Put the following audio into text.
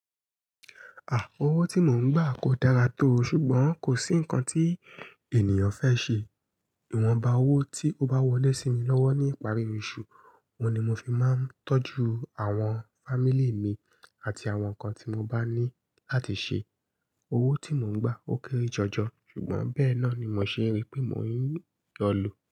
À, owó tí mò ń gbà kò dára tó, ṣùgbọ́n kò sí nǹkan tí ènìyàn fẹ́ ṣe. Ìwọ̀nba owó tí ó bá wọlé sí mi lọ́wọ́ ní ìparí oṣù, òun ni mo fi máa ń tọ́jú àwọn fámílì mi àti àwọn nǹkan tí mo bá ní láti ṣe. Owó tí mò ń gbà ó kéré jọjọ, ṣùgbọ́n bẹ́ẹ̀ náà ni mò ṣe rí pé mò ń yọlù.